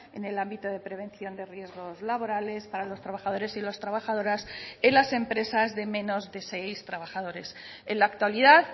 en el ámbito de prevención de riesgos laborales para los trabajadores y las trabajadoras en las empresas de menos de seis trabajadores en la actualidad